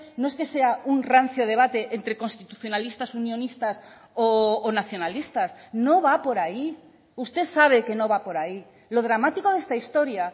no es que sea un rancio debate entre constitucionalistas unionistas o nacionalistas no va por ahí usted sabe que no va por ahí lo dramático de esta historia